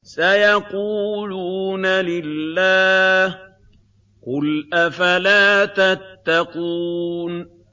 سَيَقُولُونَ لِلَّهِ ۚ قُلْ أَفَلَا تَتَّقُونَ